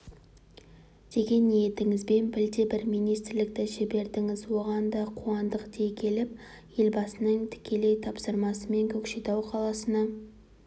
деген ниетіңізбен білдей-бір министрлікті жібердіңіз оған да қуандық дей келіп елбасының тікелей тапсырмасымен көкшетау қаласына